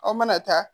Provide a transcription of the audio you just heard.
Aw mana taa